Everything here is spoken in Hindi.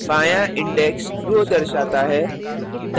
बायाँ index row दर्शाता है